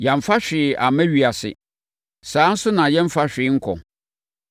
Yɛamfa hwee amma ewiase. Saa ara nso na yɛremfa hwee nkɔ.